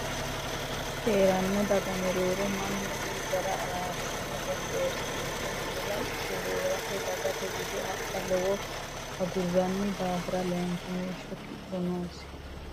Hee ranno daga mereero manna woy ga re araarsine gondoorsiinse miila ikke hee rate dagate bude adha lawa agurranni daafira laynkimeeshsho kipho noosi.